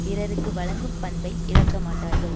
பிறருக்கு வழங்கும் பண்பை இழக்க மாட்டார்கள்